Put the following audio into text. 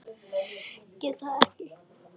Get það ekki.